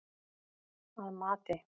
Að mati